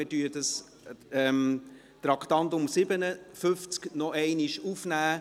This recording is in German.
Wir nehmen das Traktandum 57 am Montag noch einmal auf.